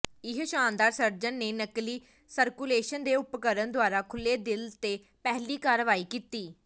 ਇਹ ਸ਼ਾਨਦਾਰ ਸਰਜਨ ਨੇ ਨਕਲੀ ਸਰਕੂਲੇਸ਼ਨ ਦੇ ਉਪਕਰਣ ਦੁਆਰਾ ਖੁੱਲ੍ਹੇ ਦਿਲ ਤੇ ਪਹਿਲੀ ਕਾਰਵਾਈ ਕੀਤੀ